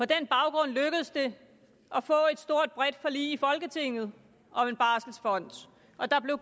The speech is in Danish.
den baggrund lykkedes det at få et stort bredt forlig i folketinget om en barselfond og der blev